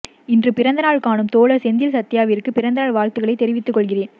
இன்று பிறந்த நாள் காணும் தோழர் செந்தில் சத்யா விற்கு பிறந்த நாள் வாழ்த்துக்களை தெரிவித்து கொள்கிறேன்